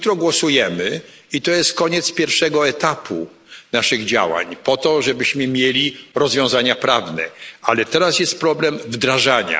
Jutro głosujemy i to jest koniec pierwszego etapu naszych działań po to, żebyśmy mieli rozwiązania prawne, ale teraz jest problem wdrażania.